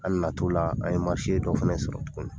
An nana t'o la , an ye marise dɔ fana sɔrɔ tuguni.